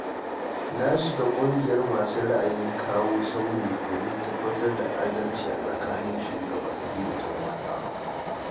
Na shiga ƙungiyar masu ra'ayin kawo sauyi, domin tabbatar da adalci a tsakanin shugabanni da talakawa